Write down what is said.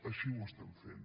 així ho estem fent